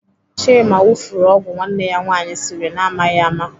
Chima wufuru ọgwụ nwanne ya nwaanyị siri na amaghị ama.